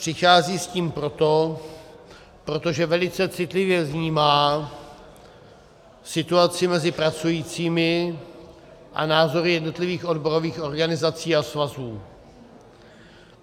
Přichází s tím proto, protože velice citlivě vnímá situaci mezi pracujícími a názory jednotlivých odborových organizací a svazů.